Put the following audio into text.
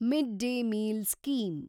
mid day meal scheme